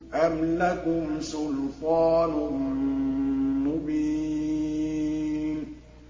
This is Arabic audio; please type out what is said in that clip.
أَمْ لَكُمْ سُلْطَانٌ مُّبِينٌ